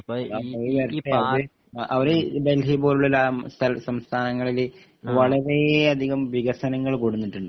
അപ്പോ ഇ ഇ പാർട്ടി അവർ ഡൽഹി പോലുള്ള സംസ്ഥാനങ്ങളിൽ വളരേയധികം വികസനങ്ങൾ കൊടുന്നിട്ടുണ്ട്